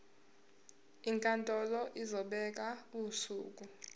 inkantolo izobeka usuku